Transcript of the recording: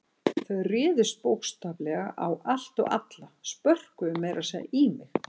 Þau réðust bókstaflega á allt og alla, spörkuðu meira að segja í mig.